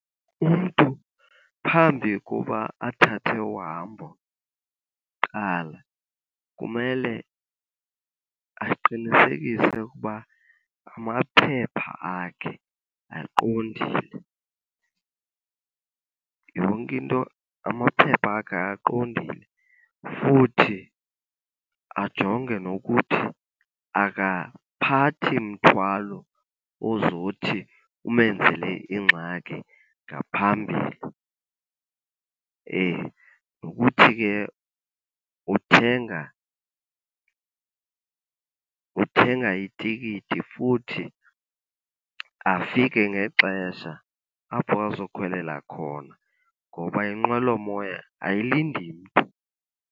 Umntu phambi koba athathe uhambo kuqala kumele aqinisekise ukuba amaphepha akhe aqondile. Yonke into, amaphepha akhe aqondile. Futhi ajonge nokuthi akaphathi mthwalo ozothi umenzele ingxaki ngaphambili , nokuthi ke uthenga, uthenga itikiti futhi afike ngexesha apho azokhwelela khona ngoba inqwelomoya ayilindi mntu.